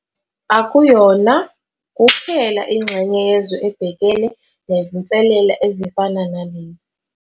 Akuyona kuphela ingxenye yezwe ebhekene nezinselele ezifana nalezi.